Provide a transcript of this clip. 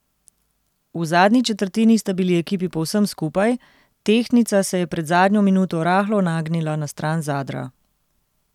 V zadnji četrtini sta bili ekipi povsem skupaj, tehtnica se je pred zadnjo minuto rahlo nagnila na stran Zadra.